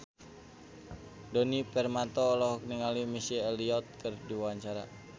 Djoni Permato olohok ningali Missy Elliott keur diwawancara